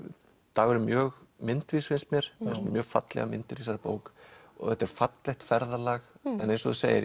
Dagur er mjög myndvís finnst mér mjög fallegar myndir í þessari bók þetta er fallegt ferðalag en eins og þú segir